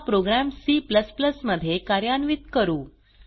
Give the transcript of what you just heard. हा program C मध्ये कार्यान्वित करू